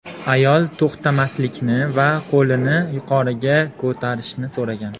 Ayol to‘xtamaslikni va qo‘lini yuqoriga ko‘tarishni so‘ragan.